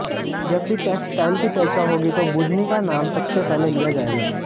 जब भी टेक्सटाइल की चर्चा होगी तो बुदनी का नाम सबसे पहले लिया जायेगा